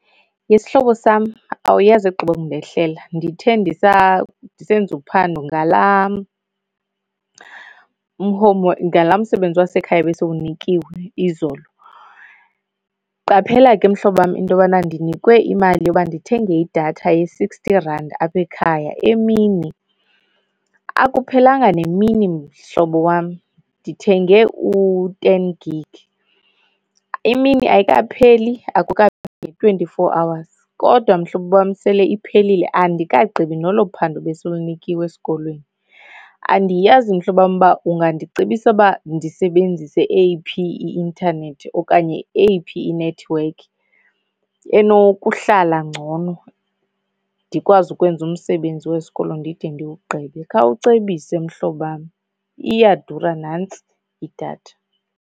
Ye sihlobo sam, awuyazi egqiba kundehlela. Ndithe ndisa ndisenza uphando ngalaa ngalaa msebenzi wasekhaya besiwunikiwe izolo. Qaphela ke mhlobam into yobana ndinikwe imali yoba ndithenge idatha ye-sixty rand apha ekhaya emini. Akuphelanga nemini mhlobo wam, ndithenge u-ten gig. Imini ayikapheli, akukapheli ne-twenty-four hours kodwa mhlobo wam sele iphelile, andikagqibi nolo phando besilunikiwe esikolweni. Andiyazi mhlobam uba ungandicebisa uba ndisebenzise eyiphi i-intanethi okanye eyiphi inethiwekhi enokuhlala ngcono ndikwazi ukwenza umsebenzi wesikolo ndide ndiwugqibe. Khawucebisa mhlobo wam iyadura nantsi idatha.